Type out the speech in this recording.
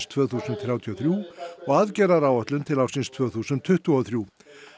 tvö þúsund þrjátíu og þrjú og aðgerðaáætlun til ársins tvö þúsund tuttugu og þrjú